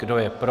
Kdo je pro?